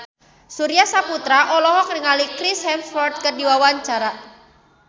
Surya Saputra olohok ningali Chris Hemsworth keur diwawancara